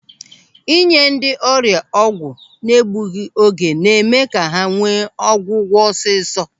Ị nye ndị ọrịa ọgwụ n'egbughị oge na-eme ka ha nwee ọgwụgwọ ọsịsọ.